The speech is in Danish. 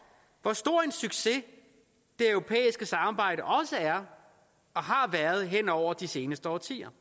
hvor stor en succes det europæiske samarbejde er og har været hen over de seneste årtier